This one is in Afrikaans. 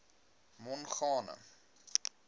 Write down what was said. mongane